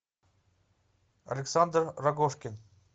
александр рогожкин